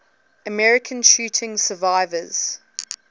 american shooting survivors